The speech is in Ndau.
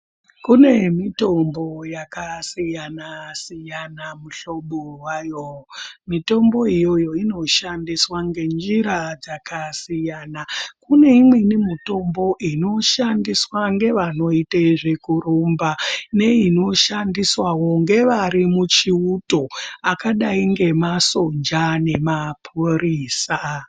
Kune mitombo yakasiyana-siyana mihlobo wayo. Mitombo iyoyo inoshandiswa ngenjira dzakasiyana. Kune imweni mitombo inoshandiswa ngevanoite zvekurumba, neinoshandiswawo ngevari muchiuto akadai ngemasoja nemaphurisa.